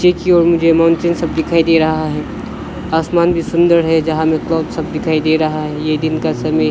क्योम game आन चेन सब दिखाई दे रहा है आसमान भी सुंदर है जहां मे सब दिखाई दे रहा है ये दिन का समय --